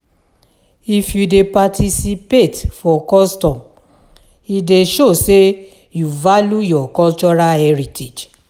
If you dey participate for custom, e dey show sey you value your cultural heritage.